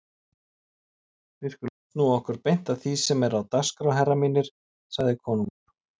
Við skulum snúa okkur beint að því sem er á dagskrá herrar mínir, sagði konungur.